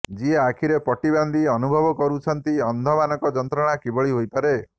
ଯିଏ ଆଖିରେ ପଟି ବାନ୍ଧି ଅନୁଭବ କରିଛନ୍ତି ଅନ୍ଧ ମାନଙ୍କ ଯନ୍ତ୍ରଣା କିଭଳି ହୋଇପାରେ